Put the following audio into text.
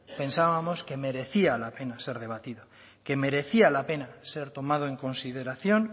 pensábamos que merecía la pena ser debatido que merecía la pena ser tomado en consideración